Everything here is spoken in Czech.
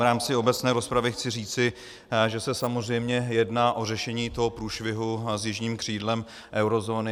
V rámci obecné rozpravy chci říci, že se samozřejmě jedná o řešení toho průšvihu s jižním křídlem eurozóny.